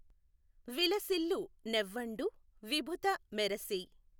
విలసిల్లు నెవ్వఁడు విభుత మెఱసి